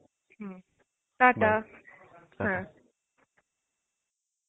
হম টা টা